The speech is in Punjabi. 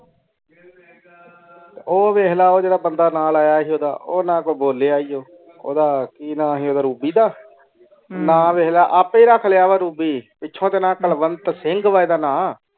ਉਹ ਵੈਖ ਕੇ ਉਹ ਜੇਰਾ ਬੰਦਾ ਨਾਲ ਆਯਾ ਸੀ ਓਦਾਂ ਉਹ ਨਾ ਕੋਈ ਬੋਲਿਆ ਉਹ, ਓਦਾਂ ਕਿ ਨਾ ਸੀ ਓਦਾਂ ਰੂਬੀ ਦਾ। ਨਾ ਵੈਖ ਲੈ ਆਪੇ ਰੱਖ ਲਿਆ ਰੂਬੀ। ਪਿਚੁ ਤੋਂ ਨਾ ਕਲਵੰਤ ਸਿੰਗ ਐਡਾ ਨਾ।